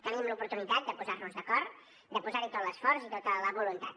tenim l’oportunitat de posar nos d’acord de posar hi tot l’esforç i tota la voluntat